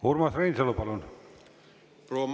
Urmas Reinsalu, palun!